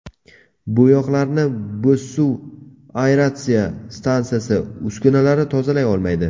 Bo‘yoqlarni Bo‘zsuv aeratsiya stansiyasi uskunalari tozalay olmaydi.